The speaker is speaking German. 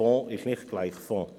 Fonds ist nicht gleich Fonds.